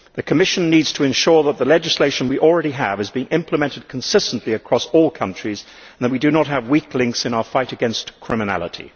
The Commission needs to ensure that the legislation we already have is being implemented consistently across all countries and that we do not have weak links in our fight against criminality.